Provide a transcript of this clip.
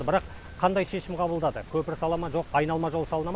бірақ қандай шешім қабылдады көпір сала ма жоқ айналма жол салына ма